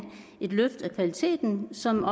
et løft af kvaliteten som